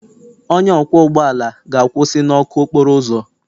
Onye ọkwọ ụgbọ ala ga-akwụsị na ọkụ okporo ụzọ.